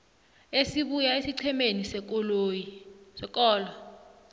esibuya esiqhemeni sekolo